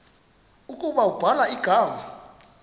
ukuba ubhala igama